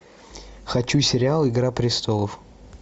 хочу сериал игра престолов